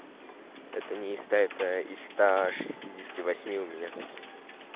это не стоит и ста шестидесяти восьми у меня